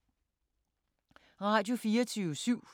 Radio24syv